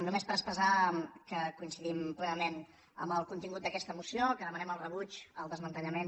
només per expressar que coin cidim plenament amb el contingut d’aquesta moció que demanem el rebuig el desmantellament